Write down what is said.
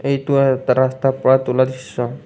এইটো এটা ৰাস্তাৰ পৰা তোলা দৃশ্য।